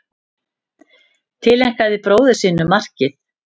Tileinkaði bróður sínum markið